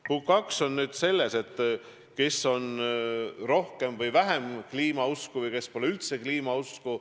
Punkt 2 on selles, kes on rohkem või vähem kliimausku või kes pole üldse kliimausku.